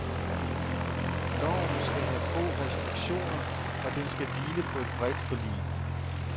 Loven skal have få reskriktioner, og den skal hvile på et bredt forlig.